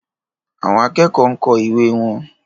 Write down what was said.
Àwọn akẹ́kọ̀ọ́ ń kọ ìwé wọn.